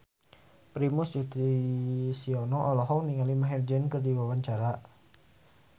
Primus Yustisio olohok ningali Maher Zein keur diwawancara